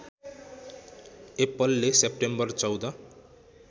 एप्पलले सेप्टेम्बर १४